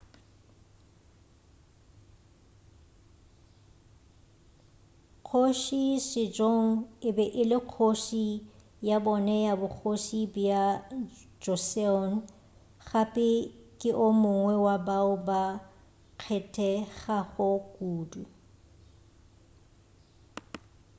kgoši sejong e be e le kgoši ya bone ya bogoši bja joseon gape ke o mongwe wa bao ba kgethegago kudu